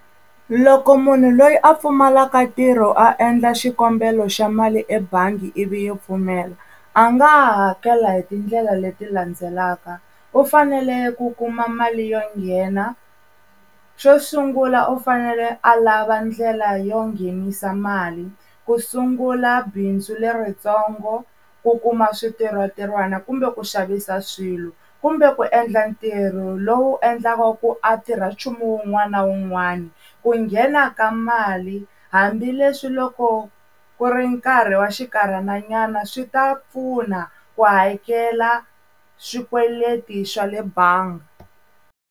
Loko munhu loyi a pfumalaka ntirho a endla xikombelo xa mali ebangi ivi yi pfumela a nga hakela hi tindlela leti landzelaka u fanele ku kuma mali yo nghena xo sungula u fanele a lava ndlela yo nghenisa mali ku sungula bindzu leritsongo ku kuma swintirho ntirhwana kumbe ku xavisa swilo kumbe ku endla ntirho lowu endlaka ku a tirha nchumu wun'wana na wun'wana ku nghena ka mali hambileswi loko ku ri nkarhi wa xinkarhana nyana swi ta pfuna ku hakela swikweleti swa le bangi.